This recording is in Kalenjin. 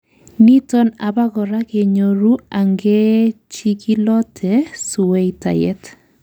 niton abakora kenyoru angechikilote sweitayet